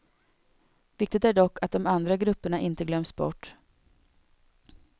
Viktigt är dock att de andra grupperna inte glöms bort.